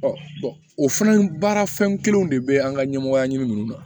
o fana baara fɛn kelenw de bɛ an ka ɲɛmɔgɔya ɲini nunnu na